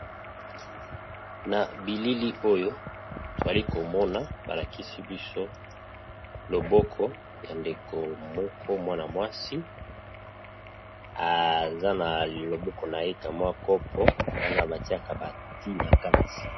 Na bilili oyo toyali komona ba lakisi biso loboko ya ndeko moko mwana mwasi aza na loboko naye ka mwa copo wana batiaka bati na kati.